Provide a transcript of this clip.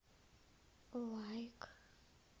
лайк